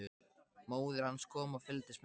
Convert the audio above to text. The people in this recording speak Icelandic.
Móðir hans kom og fylgdist með.